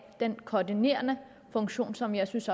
den koordinerende funktion som jeg synes